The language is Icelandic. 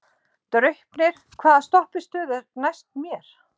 Draupnir, hvaða stoppistöð er næst mér?